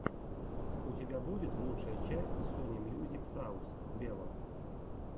у тебя будет лучшая часть сони мьюзик саус вево